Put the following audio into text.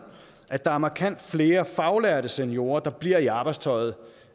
at der er markant flere faglærte seniorer der bliver i arbejdstøjet